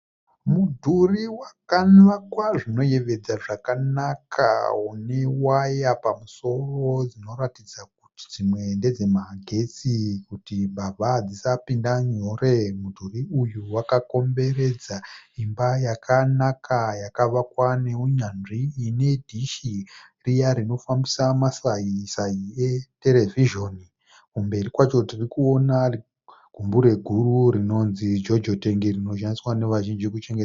Mudhuru wakavakwa zvinoyevedza zvakanaka unewaya pamusoro dzinoratidza kuti dzimwe ndedzemagetsi kuti mbavha dzisapinda nyore. Mudhuru uyu wakakomberedza imba yakanaka yakavakwa nehunyanzvi ine dhishi riya rinofambisa masisai eterivhizheni. Kumberi kwacho tirikuona gumbure guru rinonzi jojo tengi rinoshandiswa nevazhinji kuchengeta.